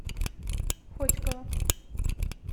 хотьково